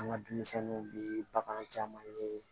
An ka denmisɛnninw bɛ bagan caman ye